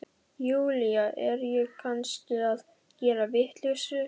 Júlía, er ég kannski að gera vitleysu?